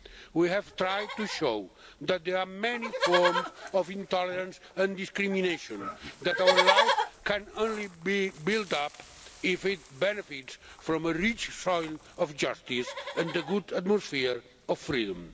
We have tried to show that there are many forms of intolerance and discrimination, that our life can only be built up if it benefits from a rich soil of justice and a good atmosphere of freedom.